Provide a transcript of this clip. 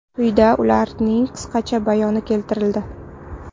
Quyida ularning qisqacha bayoni keltirildi.